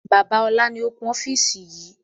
Bàbá ọlá ni ó kún ofiisi yìí